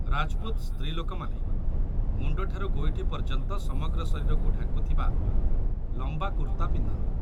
ରାଜପୁତ ସ୍ତ୍ରୀଲୋକମାନେ ମୁଣ୍ଡଠାରୁ ଗୋଇଠି ପର୍ଯ୍ୟନ୍ତ ସମଗ୍ର ଶରୀରକୁ ଢାଙ୍କୁଥିବା ଲମ୍ବା କୁର୍ତ୍ତା ପିନ୍ଧନ୍ତି